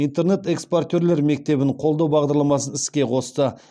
интернет экспортерлер мектебін қолдау бағдарламасын іске қосты